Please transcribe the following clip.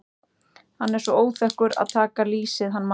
Hann er svo óþekkur að taka lýsið hann Már.